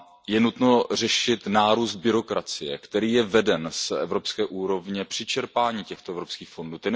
Je nutno řešit nárůst byrokracie, který je veden z evropské úrovně při čerpání těchto evropských fondů.